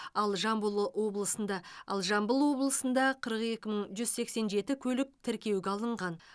ал жамбыл облысында ал жамбыл облысында қырық екі мың жүз сексен жеті көлік тіркеуге алынған